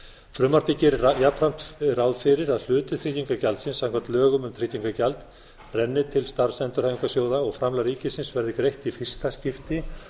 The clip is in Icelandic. frumvarpið gerir jafnframt ráð fyrir að hluti tryggingagjaldsins samkvæmt lögum um tryggingagjald renni til starfsendurhæfingarsjóða og framlag ríkisins verði greitt í fyrsta skipti